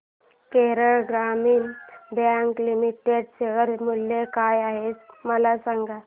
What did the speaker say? केरळ ग्रामीण bank limited share मूल्य काय आहे मला सांगा